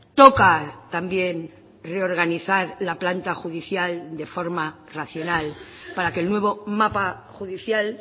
toca también reorganizar la planta judicial de forma racional para que el nuevo mapa judicial